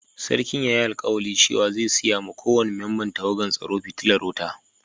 Sarkin ya yi alkawali cewa zai siya ma ko wani memban tawagan tsaro fitilar wuta.